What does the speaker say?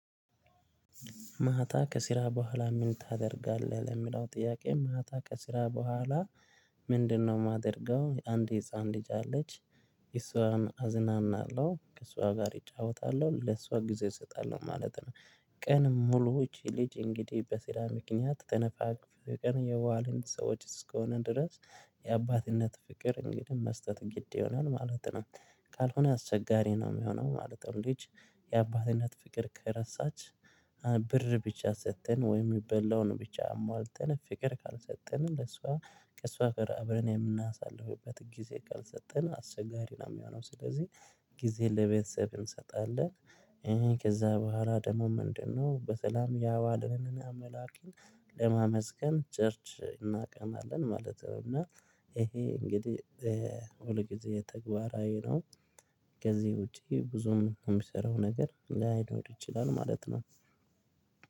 ማታ ከስራ በኋላ ምን ታደርጋለህ? ለምለው ጥያቄ ማታ ከስራ በኋላ የማደርገው አንድ የህፃን ልጅ አለች እሷም አዝናናለሁ ከእሷ ጋር እጫወታለሁ ለእሷ ጊዜ እሰጣለሁ ማለት ነው። ቀን ሙሉዎች ልጅ እንግዲህ በስራ ምክንያት ተነፋፍቀን የዋልን ሰዎች እስከሆነ ድረስ የአባትነት ፍቅር እንግዲህ መስጠት ግድ ይሆናል ማለት ነው። ካልሆነ አስቸጋሪ ነው የሚሆነው ማለት ነው። ልጅ የአባትነት ፍቅር ከረሳች ብቻ ሰጠን ወይም የሚበላውን ብቻ አሟልተን ፍቅር ካልሰጠን ለሷ ከእሷ ጋረ አብረን የምናሳልፍበት ጊዜ ካልሰጠን አስቸጋሪ ነው የሚሆነው ስለዚህ። ጊዜ ለቤተሰብ እንሰጣለን ከዛ በኋላ ደግሞ ምንድነው? በተለይም ያዋለንን አምላክን ለማመስገን ቸርች እናቀናለን ማለት ነው። እና ይሄ እንግዲህ ሁል ጊዜ ተግባራዊ ነው። ከዚህ ውጪ ብዙም የምሰራው ነገር ላይኖር ይችላል ማለት ነው።